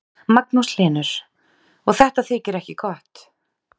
Magnús Hlynur: Og þetta þykir ekki gott?